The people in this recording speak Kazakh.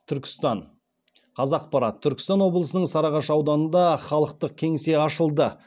түркістан қазақпарат түркістан облысының сарыағаш ауданында халықтық кеңсе ашылды